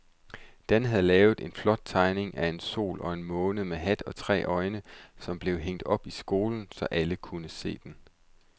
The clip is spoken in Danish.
Dan havde lavet en flot tegning af en sol og en måne med hat og tre øjne, som blev hængt op i skolen, så alle kunne se den.